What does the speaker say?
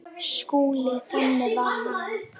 SKÚLI: Þannig var hann.